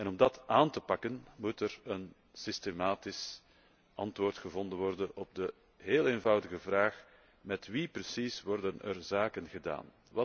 Om dat aan te pakken moet er een systematisch antwoord gevonden worden op de heel eenvoudige vraag Met wie precies worden er zaken gedaan?